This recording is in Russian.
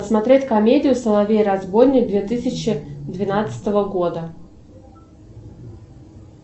посмотреть комедию соловей разбойник две тысячи двенадцатого года